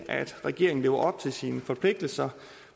regeringen lever op til sine forpligtelser